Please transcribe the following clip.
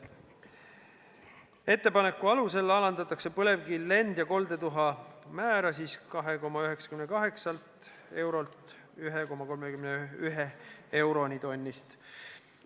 Ettepaneku alusel alandatakse põlevkivi lend- ja koldetuha ladestamise saastetasu määra 2,98 eurolt 1,31 euroni tonni eest.